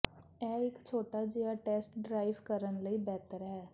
ਇਹ ਇੱਕ ਛੋਟਾ ਜਿਹਾ ਟੈਸਟ ਡਰਾਈਵ ਕਰਨ ਲਈ ਬਿਹਤਰ ਹੈ